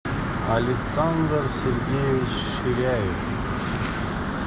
александр сергеевич ширяев